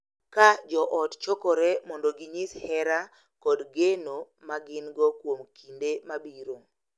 Ka joot chokore mondo ginyis hera kod geno ma gin-go kuom kinde mabiro.